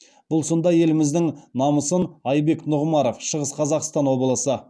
бұл сында еліміздің намысын айбек нұғымаров шығыс қазақстан облысы